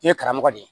I ye karamɔgɔ de ye